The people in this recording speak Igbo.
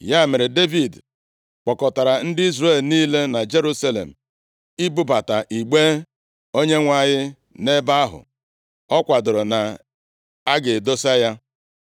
Ya mere, Devid kpọkọtara ndị Izrel niile, na Jerusalem ibubata igbe Onyenwe anyị nʼebe ahụ ọ kwadoro na a ga-adọsa ya.